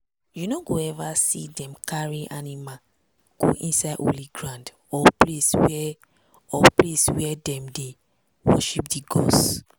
you no go ever see dem dey carry animal go inside holy ground or place wey or place wey dem dey worship di gods.